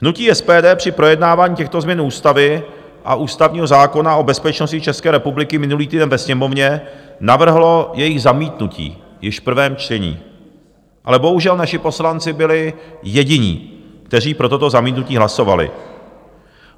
Hnutí SPD při projednávání těchto změn ústavy a ústavního zákona o bezpečnosti České republiky minulý týden ve Sněmovně navrhlo jejich zamítnutí již v prvém čtení, ale bohužel naši poslanci byli jediní, kteří pro toto zamítnutí hlasovali.